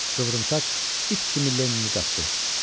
Qıvrımsaç it kimi Lennini qapdı.